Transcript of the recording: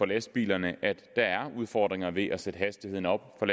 lastbilerne at der er udfordringer ved at sætte hastigheden op for